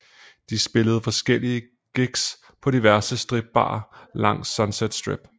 De spillede forskellige gigs på diverse stripbarer langs Sunset Strip